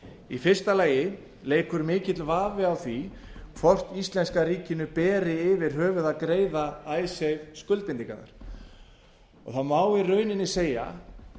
í fyrsta lagi leikur mikill vafi á hvort íslenska ríkinu beri yfir höfuð að greiða icesave skuldbindingarnar það má í rauninni segja